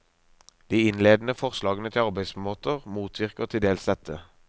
De innledende forslagene til arbeidsmåter motvirker til dels dette.